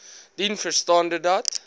dien verstande dat